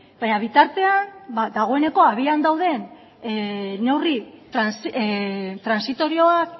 baina bitartean dagoeneko abian dauden neurri transitorioak